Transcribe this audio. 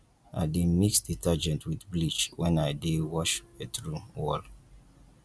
i dey mix detergent wit bleach wen i dey wash bathroom wall